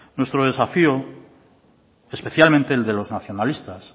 nuestro desafío especialmente el de los nacionalistas